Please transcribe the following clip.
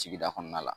Sigida kɔnɔna la